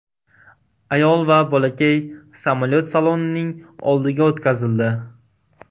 Ayol va bolakay samolyot salonining oldiga o‘tkazildi.